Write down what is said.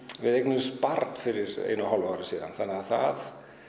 við eignuðumst barn fyrir einu og hálfu ári síðan og það